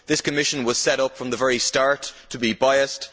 This commission was set up from the very start to be biased.